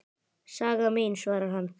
Sagan mín, svarar hann.